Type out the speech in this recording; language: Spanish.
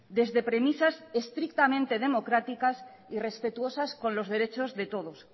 desde premisas estrictamente democráticas y respetuosas con los derechos de todos